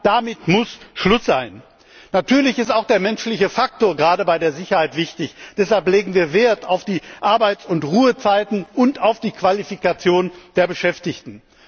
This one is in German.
Damit muss Schluss sein! Natürlich ist auch der menschliche Faktor gerade bei der Sicherheit wichtig. Deshalb legen wir Wert auf die Arbeits und Ruhezeiten und auf die Qualifikation der Beschäftigten.